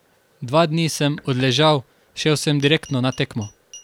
Dva dni sem odležal, šel sem direktno na tekmo.